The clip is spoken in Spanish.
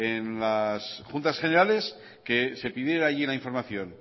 en las juntas generales que se pidiera allí la información